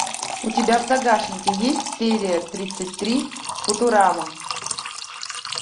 у тебя в загашнике есть серия тридцать три футурама